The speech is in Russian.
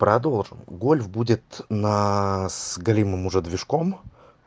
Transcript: продолжим гольф будет на с галимым уже движком